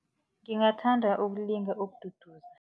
Ngingathanda ukulinga